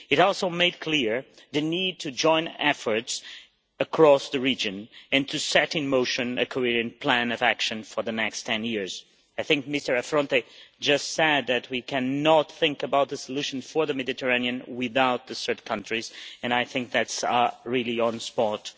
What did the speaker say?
It also made clear the need to join efforts across the region and to set in motion a coherent plan of action for the next ten years. I think Mr Affronte just said that we cannot think about the solution for the Mediterranean without the third countries, and I think that is really on-spot.